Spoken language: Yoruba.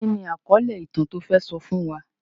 Kí ni àkọ́lé ìtàn tó fẹ́ sọ fún wa?